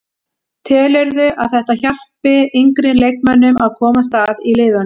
Telurðu að þetta hjálpi yngri leikmönnum að komast að í liðunum?